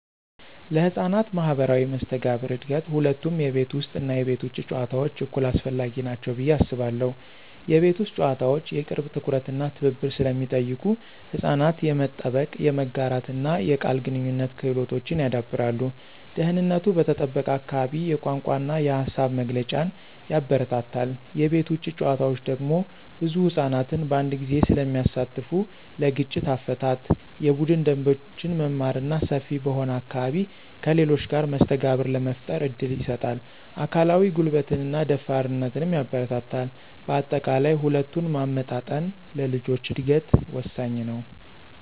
ለሕፃናት ማኅበራዊ መስተጋብር እድገት ሁለቱም የቤት ውስጥ እና የቤት ውጭ ጨዋታዎች እኩል አስፈላጊ ናቸው ብዬ አስባለሁ። የቤት ውስጥ ጨዋታዎች የቅርብ ትኩረት እና ትብብር ስለሚጠይቁ ሕፃናት የመጠበቅ፣ የመጋራትና የቃል ግንኙነት ክህሎቶችን ያዳብራሉ። ደህንነቱ በተጠበቀ አካባቢ የቋንቋ እና የሃሳብ መግለጫን ያበረታታል። የቤት ውጭ ጨዋታዎች ደግሞ ብዙ ሕፃናትን በአንድ ጊዜ ስለሚያሳትፉ ለግጭት አፈታት፣ የቡድን ደንቦችን መማር እና ሰፊ በሆነ አካባቢ ከሌሎች ጋር መስተጋብር ለመፍጠር እድል ይሰጣል። አካላዊ ጉልበትንና ደፋርነትንም ያበረታታል። በአጠቃላይ፣ ሁለቱን ማመጣጠን ለልጆች እድገት ወሳኝ ነው።